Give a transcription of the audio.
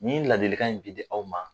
Nin ladilikan in bi di aw ma.